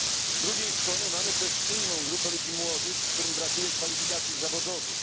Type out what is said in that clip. Z drugiej strony mamy też inną grupę ludzi młodych, którym brakuje kwalifikacji zawodowych.